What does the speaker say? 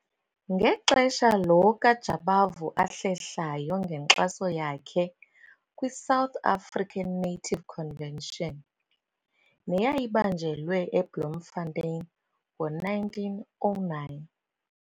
Ngexesha lo kaJabavu ahlehlayo ngenkxaso yakhe kwi-South African Native Convention, neyayibanjelwe eBloemfontein ngo-1909.